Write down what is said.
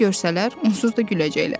Nə görsələr onsuz da güləcəklər.